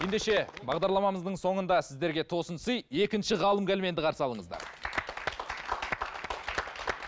ендеше бағдарламамыздың соңында сіздерге тосын сый екінші ғалым кәлменді қарсы алыңыздар